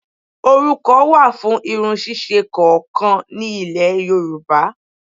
Orúkọ wà fún irun ṣíṣe kọ̀ọ̀kan ni Ilẹ̀ Yorùbá